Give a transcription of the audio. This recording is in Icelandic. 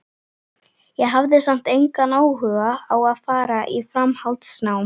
Ég hafði samt engan áhuga á að fara í framhaldsnám.